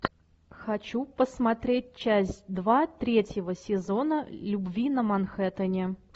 хочу посмотреть часть два третьего сезона любви на манхэттене